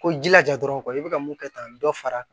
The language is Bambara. Ko jilaja dɔrɔn i bɛ ka mun kɛ ka dɔ far'a kan